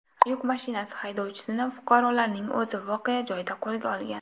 Yuk mashinasi haydovchisini fuqarolarning o‘zi voqea joyida qo‘lga olgan.